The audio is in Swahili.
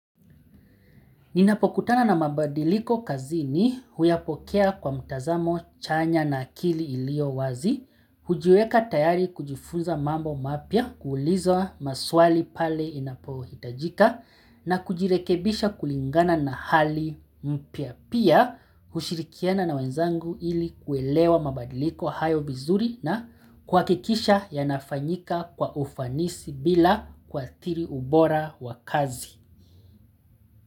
Ninapokutana na mabadiliko kazi ni, huyapokea kwa mtazamo chanya na akili iliyo wazi, hujiweka tayari kujifunza mambo mapia kuulizwa maswali pale inapohitajika na kujirekebisha kulingana na hali mpya pia hushirikiana na wenzangu ili kuelewa mabadiliko hayo vizuri na kuhakikisha yanafanyika kwa ufanisi bila kuadhiri ubora wa kazi.